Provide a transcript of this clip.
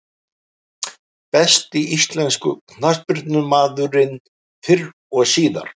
Besti íslenski knattspyrnumaðurinn fyrr og síðar?